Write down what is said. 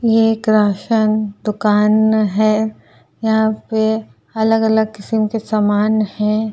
ये एक राशन दुकान है। यहाँ पे अलग-अलग किसिम के सामान हैं।